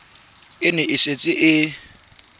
e ne e setse e